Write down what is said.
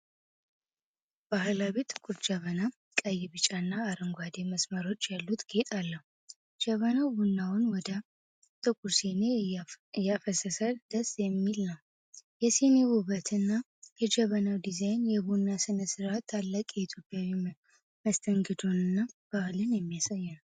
ባህላዊ ጥቁር ጀበና ቀይ፣ ቢጫና አረንጓዴ መስመሮች ያሉት ጌጥ አለው። ጀበናው ቡናውን ወደ ጥቁር ሲኒ እያፈሰሰ ደስ የሚል ነው። የሲኒው ውበትና የጀበናው ዲዛይን የቡና ሥነ ሥርዓት ታላቅ የኢትዮጵያዊ መስተንግዶንና ባህልን የሚያሳይ ነው።